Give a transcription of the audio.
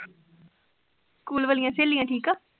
school ਵਾਲਿਆਂ ਸਹੇਲੀਆਂ ਠੀਕ ਆ।